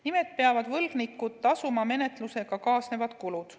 Nimelt peavad võlgnikud tasuma menetlusega kaasnevad kulud.